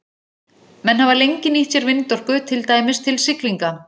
Menn hafa lengi nýtt sér vindorku, til dæmis til siglinga.